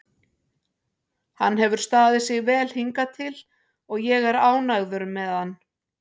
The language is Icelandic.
Hann hefur staðið sig vel hingað til og ég er ánægður með hann.